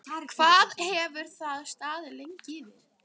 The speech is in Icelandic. Hvað hefur það staðið lengi yfir?